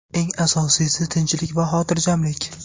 Eng asosiysi – tinchlik va xotirjamlik.